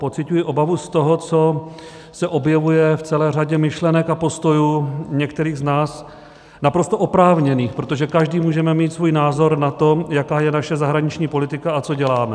Pociťuji obavu z toho, co se objevuje v celé řadě myšlenek a postojů některých z nás, naprosto oprávněných, protože každý můžeme mít svůj názor na to, jaká je naše zahraniční politika a co děláme.